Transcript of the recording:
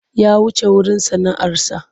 Ya wuce wurin sana'arsa.